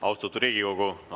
Austatud Riigikogu!